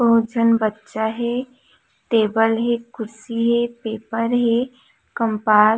बहुत झन बच्चा हे टेबल हे कुर्सी हे पेपर हे कंपास --